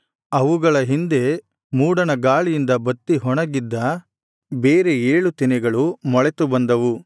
ಅವುಗಳ ಹಿಂದೆ ಮೂಡಣ ಗಾಳಿಯಿಂದ ಬತ್ತಿ ಒಣಗಿಹೋಗಿದ್ದ ಬೇರೆ ಏಳು ತೆನೆಗಳು ಮೊಳೆತು ಬಂದವು